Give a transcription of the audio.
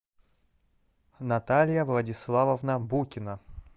наталья владиславовна букина